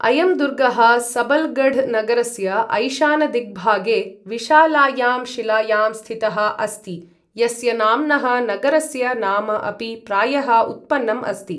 अयं दुर्गः सबल्गढ् नगरस्य ऐशानदिग्भागे विशालायां शिलायां स्थितः अस्ति, यस्य नाम्नः नगरस्य नाम अपि प्रायः उत्पन्नम् अस्ति।